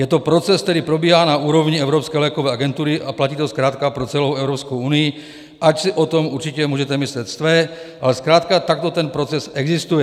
Je to proces, který probíhá na úrovni Evropské lékové agentury a platí to zkrátka pro celou Evropskou unii, ač si o tom určitě můžete myslet své, ale zkrátka takto ten proces existuje.